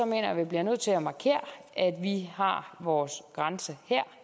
jeg at vi bliver nødt til at markere at vi har vores grænse her